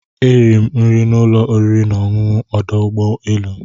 Eriri m nri n'ụlọ oriri na ọṅụṅụ ọdụ ụgbọ elu.